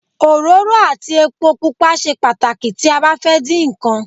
Òróró àti epo pupa ṣe pàtàkì tí a bá fẹ́ din nkan